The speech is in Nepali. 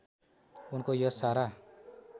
उनको यश सारा